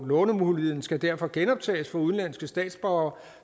lånemuligheden skal derfor genoptages for udenlandske statsborgere